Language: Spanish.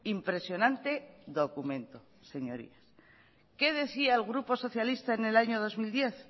impresionante documento señorías qué decía que el grupo socialista en el año dos mil diez